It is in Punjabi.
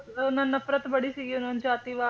ਮਤਲਬ ਉਹਨਾਂ ਨਫਰਤ ਬੜੀ ਸੀ ਉਹਨਾਂ ਨੂੰ ਜਾਤੀਵਾਦ